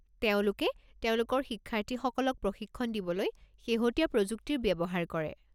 তেওঁলোকে তেওঁলোকৰ শিক্ষাৰ্থীসকলক প্ৰশিক্ষণ দিবলৈ শেহতীয়া প্ৰযুক্তিৰ ব্যৱহাৰ কৰে।